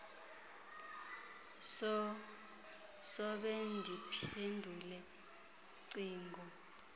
sobe ndiphendule cingo